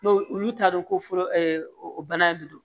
N'o olu t'a dɔn ko fɔlɔ bana in de don